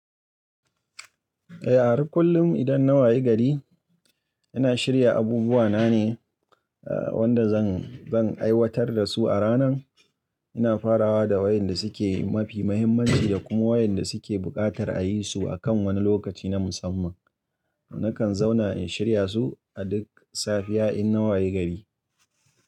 Eh, a har kullum idan na waye gari ina shirya abubuwa na ne wanda zan, zan aiwatar da su a ranan. Ina farawa da wa'inda suke mafi muhimmanci da kuma wa'inda suke buƙatar ayi su akan wani lokaci na musamman. Nakan zauna in shirya su a duk safiya in na waye gari.